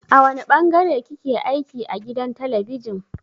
A wane ɓangare kike aiki a gidan talabijin.